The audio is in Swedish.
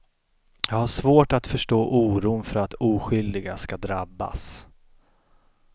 Jag har svårt att förstå oron för att oskyldiga ska drabbas.